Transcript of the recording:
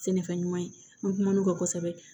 Sɛnɛfɛn ɲuman ye n kumu ka kosɛbɛ